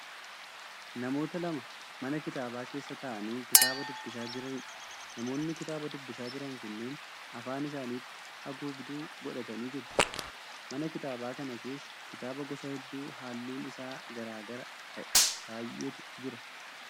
Namoota lama mana kitaabaa keessa ta'aanii kitaaba dubbisaa jiraniidha. Namoonni kitaaba dubbisaa jiran kunneen afaan isaaniitti haguugduu godhatanii jiru. Mana kitaabaa kana keessa kitaaba gosa hedduu halluun isaa garaa garaa ta'e baay'eetu jira.